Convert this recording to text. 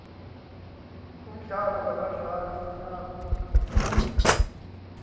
omdlalo ngabadlali naba